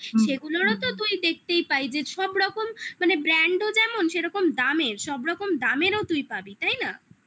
সেগুলোরও তো তুই দেখতেই পাই যে সব রকম মানে brand ও যেমন সেরকম দামের সব রকম দামেরও তুই পাবি তাই না